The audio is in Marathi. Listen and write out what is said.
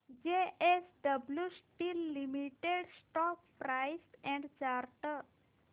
JSW steel limited stock price and chart